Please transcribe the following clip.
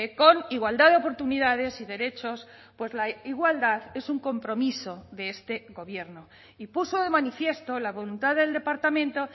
con igualdad de oportunidades y derechos pues la igualdad es un compromiso de este gobierno y puso de manifiesto la voluntad del departamento